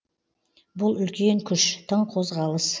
бұл үлкен күш тың қозғалыс